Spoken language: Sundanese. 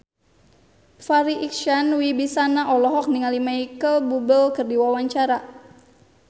Farri Icksan Wibisana olohok ningali Micheal Bubble keur diwawancara